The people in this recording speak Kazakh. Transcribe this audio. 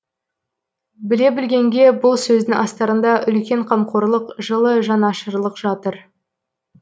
біле білгенге бұл сөздің астарында үлкен қамқорлық жылы жанашырлық жатыр